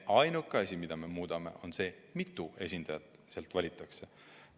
Ainuke asi, mida me muudame, on see, mitu esindajat valitakse.